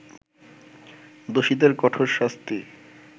দোষীদের কঠোর শাস্তি